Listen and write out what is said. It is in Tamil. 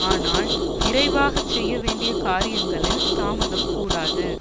ஆனால் விரைவாகச் செய்ய வேண்டிய காரியங்களில் தாமதம் கூடாது